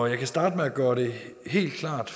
jeg kan starte med at gøre det helt klart